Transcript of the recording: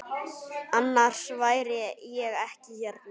Annars væri ég ekki hérna.